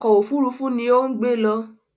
Ọkọ̀ òfurufú ni ó ń gbé lọ